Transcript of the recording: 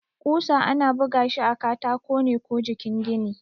ƙusa ana bugashi a katako ne ko jikin gini.